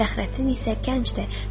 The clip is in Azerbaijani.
Fəxrəddin isə gənc idi.